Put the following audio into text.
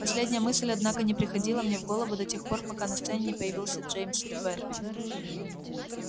последняя мысль однако не приходила мне в голову до тех пор пока на сцене не появился джеймс твер